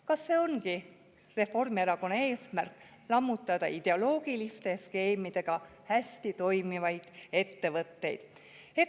Kas see ongi Reformierakonna eesmärk: lammutada ideoloogiliste skeemidega hästi toimivaid ettevõtteid?